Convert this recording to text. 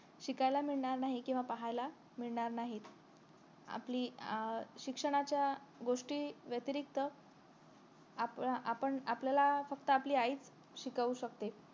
शिकायला मिळणार नाही किंवा पाहायला मिळणार नाही आपली अं शिक्षणाच्या गोष्टी व्यतिरिक्त आपण आपल्याला फक्त आईच शिकवू शकते